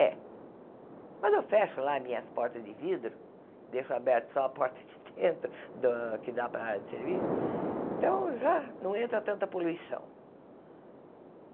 É. Mas eu fecho lá minhas portas de vidro, deixo aberta só a porta de dentro, da que dá para a área de serviço, então já não entra tanta poluição.